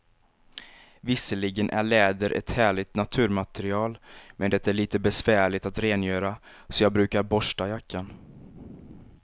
Visserligen är läder ett härligt naturmaterial, men det är lite besvärligt att rengöra, så jag brukar borsta jackan.